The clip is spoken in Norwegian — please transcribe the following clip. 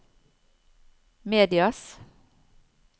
medias